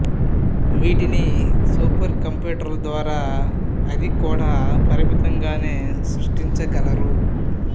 వీటిని సూపర్ కంప్యూటర్ల ద్వారా అది కూడా పరిమితంగానే సృష్టించగలరు